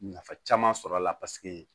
Nafa caman sɔr'a la paseke